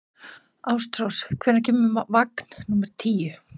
Ástrós, hvenær kemur vagn númer tíu?